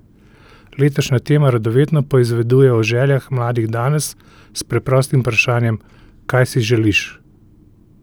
Letošnja tema radovedno poizveduje o željah mladih danes s preprostim vprašanjem Kaj si želiš?